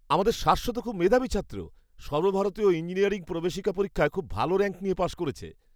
আমাদের শাশ্বত খুব মেধাবী ছাত্র! সর্বভারতীয় ইঞ্জিনিয়ারিং প্রবেশিকা পরীক্ষায় খুব ভালো র‍্যাঙ্ক নিয়ে পাশ করেছে।